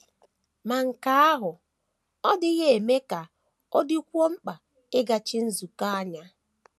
Ma nke ahụ ọ́ dịghị eme ka ọ dịkwuo mkpa ịgachi nzukọ anya?